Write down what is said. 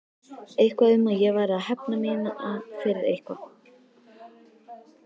Eitthvað um að ég væri að hefna mína fyrir eitthvað.